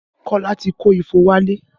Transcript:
Kola ti kó ifo wálé